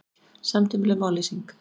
Samtímaleg mállýsing